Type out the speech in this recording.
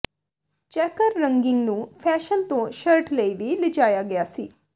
checker ਰੰਗਿੰਗ ਨੂੰ fashion ਤੋਂ ਸ਼ਰਟ ਲਈ ਵੀ ਲਿਜਾਇਆ ਗਿਆ ਸੀ